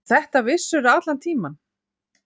Og þetta vissirðu allan tímann.